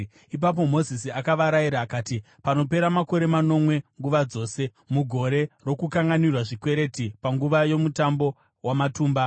Ipapo Mozisi akavarayira, akati, “Panopera makore manomwe nguva dzose, mugore rokukanganwira zvikwereti, panguva yoMutambo waMatumba,